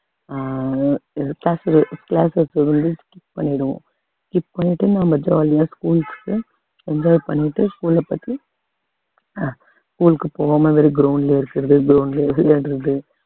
அஹ் skip பண்ணிடுவோம் skip பண்ணிட்டு நம்ம jolly யா school க்கு enjoy பண்ணிட்டு school அ பத்தி அஹ் school க்கு போகாம வெறும் ground லயே இருக்கிறது ground லயே விளையாடுறது